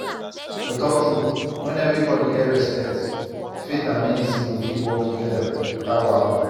to talk true when everybody get respect faith and medicine go fit work together without wahala.